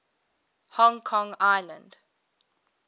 hong kong island